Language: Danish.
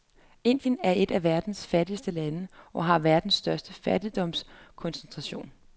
Indien er et af verdens fattigste lande og har verdens største fattigdomskoncentration.